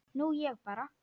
Nú ég bara.